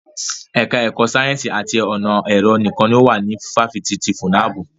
Ẹka ẹ̀kọ́ sáyẹ́nsì àti ọ̀nà ẹ̀rọ nìkan ni ó wà ní ifáfitì ti FUNAB.